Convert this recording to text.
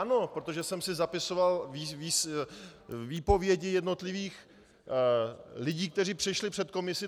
Ano, protože jsem si zapisoval výpovědi jednotlivých lidí, kteří přišli před komisi.